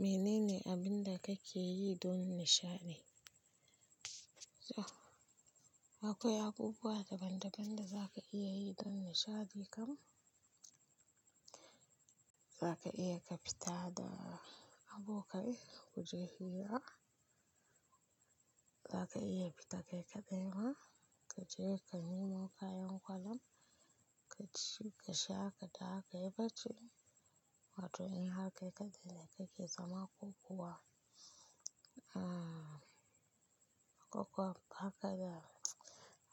Mene ne abin da kake yi don nishaɗi? Akwai abubuwa daban-daban da zaka iya yi don nishaɗi kam. Zaka iya ka fita da abokai ku je hira. Zaka iya fita kai kaɗema, ka je ka nemo kayan kwallam, ka ci ka sha ka dawo ka yi bacci. Wato in haka kake kake yi zaman kokuwa.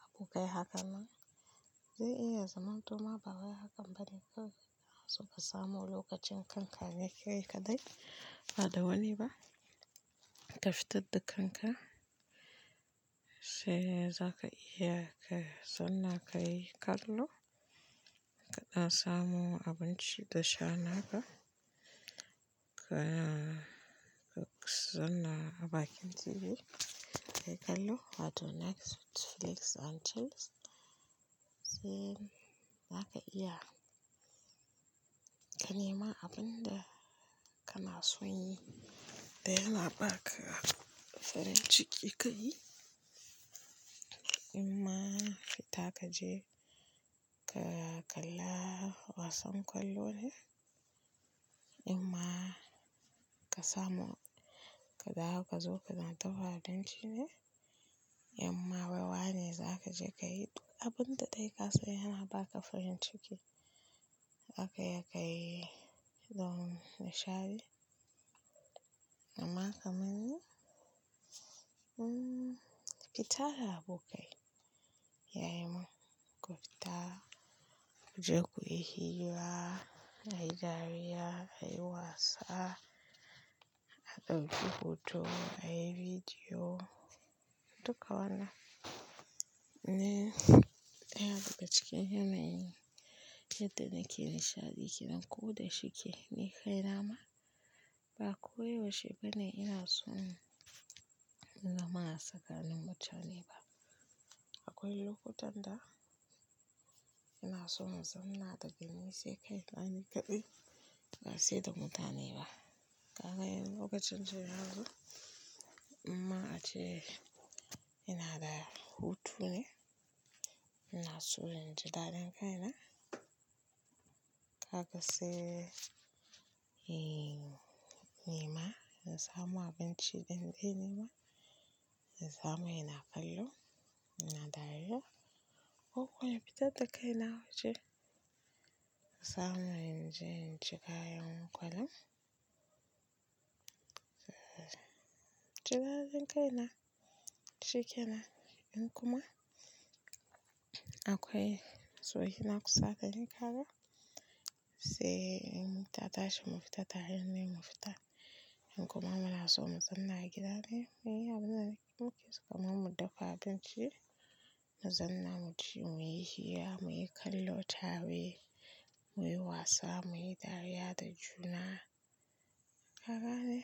Abokai haka nan. Zai iya zaman toma bawai haka bane kawai inaso kasamo lokacin kankane kai kade kaɗai. Ba da wani ba. Ka fitar da kanka, sai zaka iya ka sanna ka yi kallo, kana samu abinci da sha naka, ka sanna abakin TV ka kallo. Wato Netflix and chills. Sai zaka iya, ka nema abin da kana son yi da yana ba ka farin ciki. Imma fita ka je ka kalla wasan kwallo ne? Imma ka samu ka dawo ka zo kana ta waɗancine? Imma ra wane za ka je ka yi abin da kai ka so yana ba ka farin ciki. Haka ya ka yi don nishaɗi. Amma kamanni, fita da abokai. Yayi min ku fita ku je ku yi hira, a yi dariya, a yi wasa, a ɗauki hoto, a yi bidiyo, duka wannan. Ne ɗaya daga cikin yanayin yadda nake nishaɗi, ki nan ko da shike. Ni kai na ma ba ko yaushe ba ne ina so in zama tsakanin mutane ba. Akwai lokutan da ina so in zanna da gani sai kai ɗani kaɗai, ba sai da mutane ba. Kaga in lokacin jiya yanzu, amma ace ina da hutu ne. Ina so in ji daɗin kaina. Kaga sai in nema, in samu abinci ɗanɗe nema, in samu ina kallo, ina dariya. Ko kuwa in fitar da kaina waje, in samu inda zan ci kayan kwallam. Ji daɗin kaina shikenan. In kuma akwai soyi na kusata, ni kaka sai in tashi mu fita ta hanyar ne mu fita. In kuma muna so mu zanna a gida ne, muyi abin da muke so kamar mu dafa abinci, mu zanna mu ci, muyi hira, muyi kallo tare, muyi wasa, muyi dariya da juna. Kaga ne,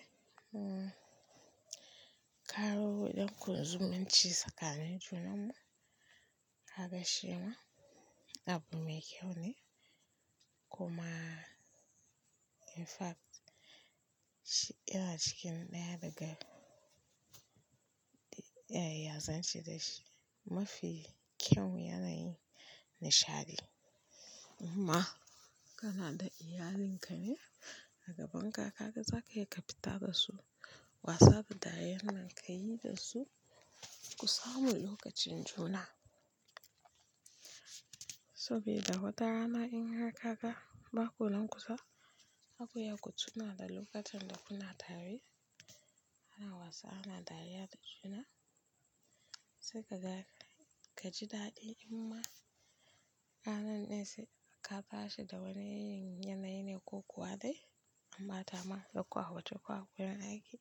ko danku da zumun ci tsakani junan ku. Kaga shima abu mai kyau ne. Kuma in fact yana cikin ɗaya daga iyaye ya za suyi da shi mafi kyau yanayin nishaɗi. Imma kana da iyalinka ne a gaban ka, kaga zaka iya ka fita da su, wasada dariyar nan ka yi da su, ku samu lokacin juna. Sabida watarana in harka kaga ba kunnan kusa zaku iya ku tuna da lokacin da kuna tare, ana wasa, ana dariya da juna. Sai ka ga ka ji daɗi. Imma ƙanan nesi ka tashi da wani yanayi ne ko kuwa dai ambata ma da ƙwa hoto ko akwai yanayi.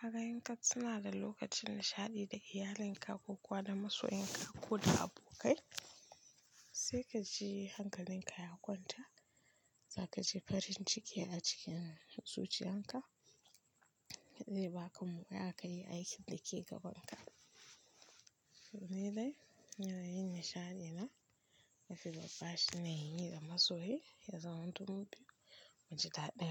Kaga yinka tuna da lokacin nishaɗi ka iyalinka ko kuwa da masoyinka ko da abokai. Sai ka ji hankalinka ya kwanta, zaka ji farin ciki a cikin zuciyarka. Zai ba kamuka aka yi aikin da ke gabanka. Menene yanayin nishaɗi na? Na fi gabashi na yin da masoyi, ya zama tuntuɓe mu ji daɗi.